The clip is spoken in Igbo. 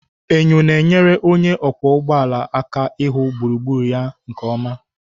Enyo na-enyere onye ọkwọ ụgbọ ala aka ịhụ gburugburu ya nke ọma.